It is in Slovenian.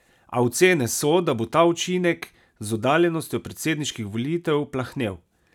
A ocene so, da bo ta učinek z oddaljenostjo predsedniških volitev plahnel.